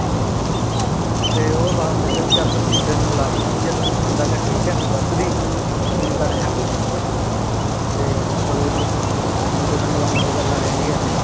ਤੇ ਊ ਬਾਪ ਕਹੰਦਾ ਭੀ ਚਲ ਤੇਨੁ ਮੁੰਡੇ ਨੂ ਮਿਲਾ ਦੇਣਾ ਭੀ ਜੇ ਤੇਨੁ ਪਸੰਦ ਆਗਯਾ ਠੀਕ ਆਯ ਤੂੰ ਦਸ ਦੀ ਨਈ ਤਾਂ ਰਹਨ ਦੀ। ਤੇ ਚਲੋ ਜੀ ਮੁੰਡੇ ਨੂ ਮਿਲਾਓਣ ਦੀ ਗਲ ਆ ਜਾਂਦੀ ਆਯ